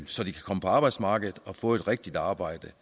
så de kan komme på arbejdsmarkedet og få et rigtigt arbejde